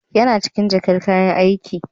Yana cikin jakar Kayan aiki.